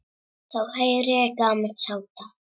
Þá heyri ég gamalt samtal.